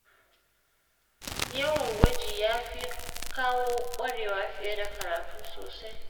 Yawan gwaji ya fi kawo kwarewa fiye da karatu kawai.